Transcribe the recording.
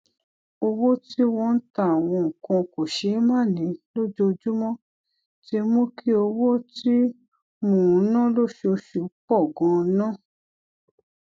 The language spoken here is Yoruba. owó tí wón ń ta àwọn nǹkan kòṣeémánìí lójoojúmó ti mú kí owó tí mò ń ná lóṣooṣù pò ganan